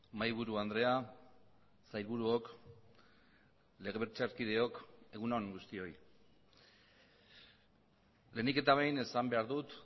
mahaiburu andrea sailburuok legebiltzarkideok egun on guztioi lehenik eta behin esan behar dut